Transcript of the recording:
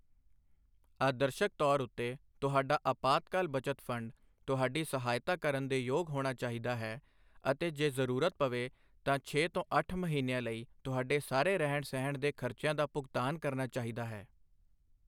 ਆਦਰਸ਼ਕ ਤੌਰ ਉੱਤੇ, ਤੁਹਾਡਾ ਅਪਾਤਕਾਲ ਬੱਚਤ ਫੰਡ ਤੁਹਾਡੀ ਸਹਾਇਤਾ ਕਰਨ ਦੇ ਯੋਗ ਹੋਣਾ ਚਾਹੀਦਾ ਹੈ ਅਤੇ ਜੇ ਜ਼ਰੂਰਤ ਪਵੇ ਤਾਂ ਛੇ ਤੋਂ ਅੱਠ ਮਹੀਨਿਆਂ ਲਈ ਤੁਹਾਡੇ ਸਾਰੇ ਰਹਿਣ ਸਹਿਣ ਦੇ ਖਰਚਿਆਂ ਦਾ ਭੁਗਤਾਨ ਕਰਨਾ ਚਾਹੀਦਾ ਹੈ।